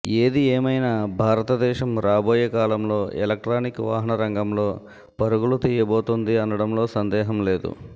ఏది ఏమైనా భారతదేశం రాబోయే కాలంలో ఎలక్ట్రానిక్ వాహనరంగంలో పరుగులు తీయబోతోంది అనడంలో సందేహం లేదు